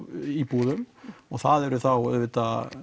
íbúðum og það eru þá auðvitað